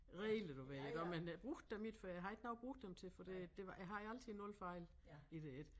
Regler du ved iggå men jeg brugte dem ikke for jeg havde ikke noget at bruge dem til for det det var jeg havde altid 0 fejl i det ik